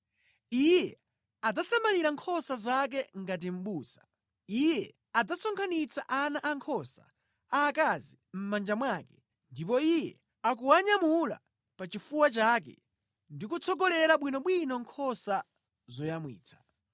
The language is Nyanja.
Iye adzasamalira nkhosa zake ngati mʼbusa: Iye adzasonkhanitsa ana ankhosa aakazi mʼmanja mwake ndipo Iye akuwanyamula pachifuwa chake ndi kutsogolera bwinobwino nkhosa zoyamwitsa.